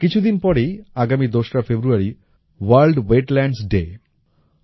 কিছুদিন পরেই আগামী দোসরা ফেব্রুয়ারি ভোর্ল্ড ওয়েটল্যান্ডস ডে